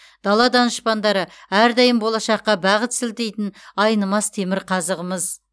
дала данышпандары әрдайым болашаққа бағыт сілтейтін айнымас темірқазығымыз